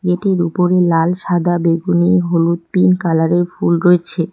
এদের উপরে লাল সাদা বেগুনি হলুদ পিংক কালারের ফুল রয়েছে।